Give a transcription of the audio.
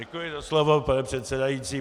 Děkuji za slovo, pane předsedající.